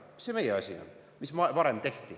Mis see meie asi on, mis varem tehti.